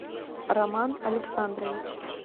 роман александрович